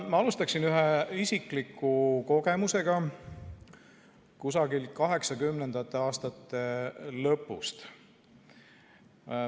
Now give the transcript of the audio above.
Ma alustan ühe isikliku kogemusega 1980. aastate lõpust.